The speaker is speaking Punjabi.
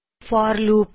for loop